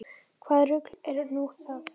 Hvaða rugl er nú það?